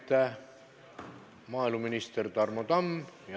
Aitäh, maaeluminister Tarmo Tamm!